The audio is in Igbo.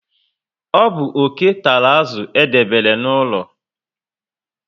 Ọ bu oke tàrà azụ edebere n'ụlọ